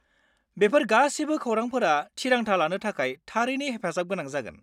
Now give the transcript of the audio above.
बेफोर गासिबो खौरांफोरा थिरांथा लानो थाखाय थारैनो हेफाजाब गोनां जागोन।